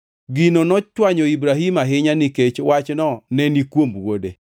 Gino nochwanyo Ibrahim ahinya nikech wachno neni kuom wuode.